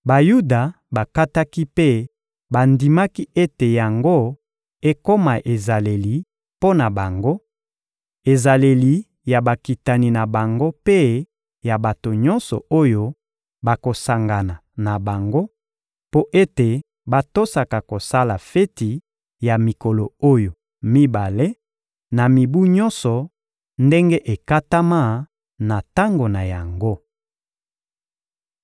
Bayuda bakataki mpe bandimaki ete yango ekoma ezaleli mpo na bango, ezaleli ya bakitani na bango mpe ya bato nyonso oyo bakosangana na bango, mpo ete batosaka kosala feti ya mikolo oyo mibale, na mibu nyonso, ndenge ekatama na tango na yango.